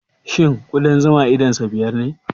Shin ƙudan zuma idonsa biyar ne?